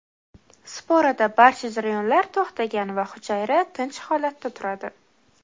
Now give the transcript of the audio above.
Sporada barcha jarayonlar to‘xtagan va hujayra tinch holatda turadi.